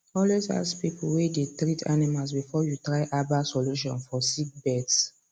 always ask people way they treat animals before you try herbal solution for sick birds